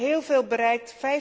We hebben heel veel bereikt.